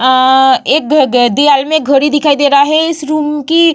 अअअ एक घ घ दीआल में घड़ी दिखाई दे रहा है इस रूम की --